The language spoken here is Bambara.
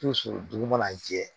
dugu mana jɛ